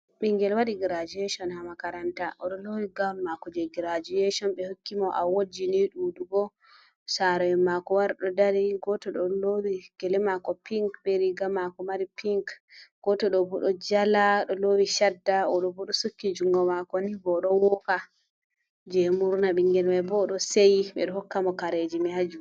Ɓingel wadi girajuyishon ha makaranta, oɗo lowi gwaun mako je girajuashon, ɓe hokki mo awotji ni ɗuɗugo saro en mako wari ɗo dari, goto ɗo lowi gele mako pink be riga mako mari pinc, goto ɗo bu ɗo jala ɗo lowi shadda. Oɗo bu ɗo sukki jungo mako ni ba o ɗo woka je murna. Ɓingel mai boo ɗo sei miɗo hokka mo kareji mai aju.